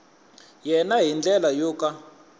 yena hi ndlela yo ka